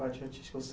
parte artística? Você